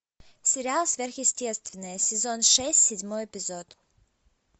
сериал сверхъестественное сезон шесть седьмой эпизод